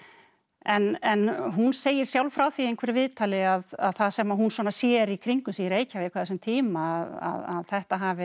en hún segir sjálf frá því í einhverju viðtali að það sem hún svona sér í kringum sig í Reykjavík á þessum tíma að þetta hafi